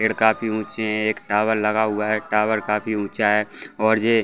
पेड़ काफी ऊँची है एक टॉवर लगा हुआ है टॉवर काफी ऊँचा है और ये --